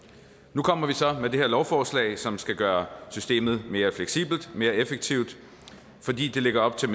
nu kommer vi så med det her lovforslag som skal gøre systemet mere fleksibelt mere effektivt fordi det lægger op til